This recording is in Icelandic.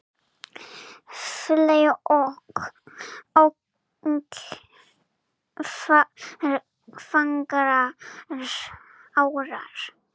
fley ok fagrar árar